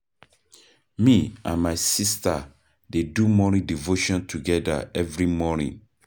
Me and my sista dey do morning devotion togeda every morning.